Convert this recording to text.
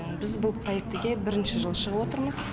біз бұл проектіге бірінші жылы шығып отырмыз